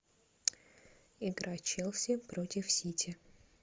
игра челси против сити